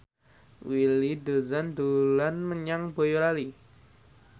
Willy Dozan dolan menyang Boyolali